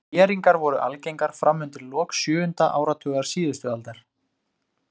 Þéringar voru algengar fram undir lok sjöunda áratugar síðustu aldar.